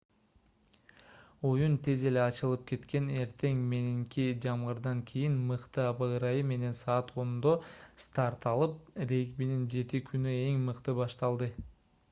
оюн тез эле ачылып кеткен эртең мененки жамгырдан кийин мыкты аба ырайы менен саат 10:00 старт алып регбинин 7-күнү эң мыкты башталды